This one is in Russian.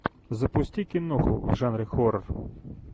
запусти киноху в жанре хоррор